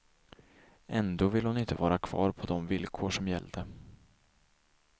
Ändå ville hon inte vara kvar på de villkor som gällde.